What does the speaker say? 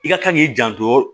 I ka kan k'i janto